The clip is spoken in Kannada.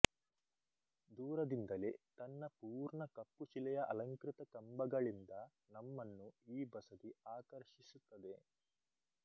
ದೂರದಿಂದಲೇ ತನ್ನ ಪೂರ್ಣ ಕಪ್ಪು ಶಿಲೆಯ ಅಲಂಕೃತ ಕಂಬಗಳಿಂದ ನಮ್ಮನ್ನು ಈ ಬಸದಿ ಆಕರ್ಷಿಸುತ್ತದೆ